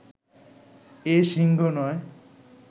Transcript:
এ সিংহ নয়